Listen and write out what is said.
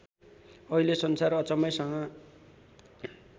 अहिले संसार अचम्मैसँग